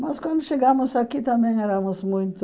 Mas quando chegamos aqui também éramos muito...